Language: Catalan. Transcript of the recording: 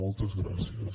moltes gràcies